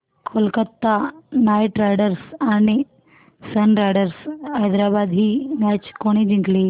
Kolkata Knight Riders आणि Sunrisers Hyderabad ही match कोणी जिंकली